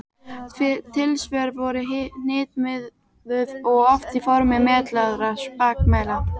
Tilsvör eru hnitmiðuð og oft í formi meitlaðra spakmæla.